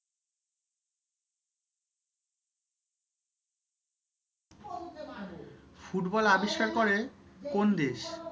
football আবিষ্কার করে কোন দেশ